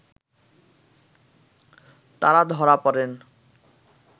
তারা ধরা পড়েন